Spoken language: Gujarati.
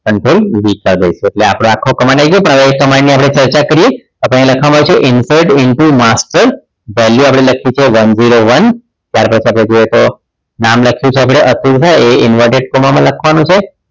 કંટ્રોલ વી કરી નાખીશું એટલે આપણો આખો command આવી જશે હવે એ command ની આપણે ચર્ચા કરીએ આપણે અહીં લખવામાં આવી છે કે input input master value આપણે લખીએ છીએ one zero one ત્યાર પછી આપણે જોઈએ તો નામ લખ્યું છે અતુલ છે એ inverted comma માં લખવાનું છે